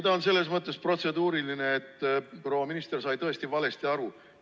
Ta on selles mõttes protseduuriline, et proua minister sai tõesti valesti aru.